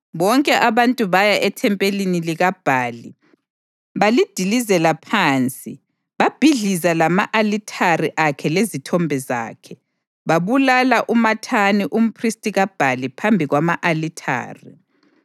Bonke abantu baya ethempelini likaBhali, balidilizela phansi, babhidliza lama-alithare akhe lezithombe zakhe, babulala uMathani umphristi kaBhali phambi kwama-alithare.